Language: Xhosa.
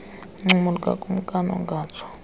uncumo lukakumkani engatsho